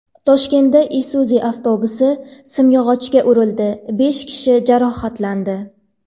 Toshkentda Isuzu avtobusi simyog‘ochga urildi, besh kishi jarohatlandi.